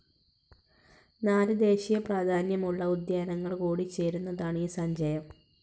നാല് ദേശീയ പ്രാധാന്യമുള്ള ഉദ്യാനങ്ങൾ കൂടിചേരുന്നതാണ് ഈ സഞ്ചയം